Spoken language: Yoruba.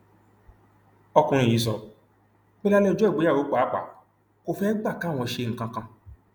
ọkùnrin yìí sọ pé lálẹ ọjọ ìgbéyàwó pàápàá kò fẹẹ gbà káwọn ṣe nǹkan kan